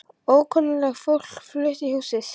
Og ókunnugt fólk flutt í húsið.